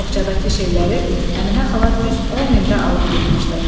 Boğçadakı şeyləri Əminə xala düz 10 ildə alıb yığmışdı.